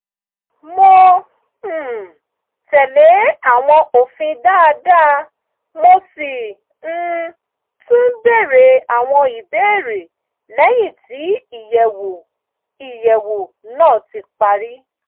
mo um tẹ̀lé àwọn òfin dáadáa mo sì um tún bèrè àwọn ìbéèrè lẹ́yìn tí ìyẹ̀wò ìyẹ̀wò náà ti parí